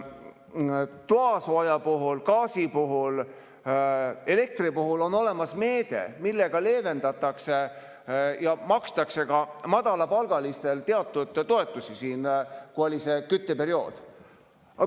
Toasooja puhul, gaasi puhul, elektri puhul on olemas meede, millega leevendatakse ja makstakse madalapalgalistele teatud toetusi kütteperioodil.